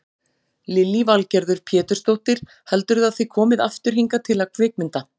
Lillý Valgerður Pétursdóttir: Heldurðu að þið komið aftur hingað til að kvikmynda?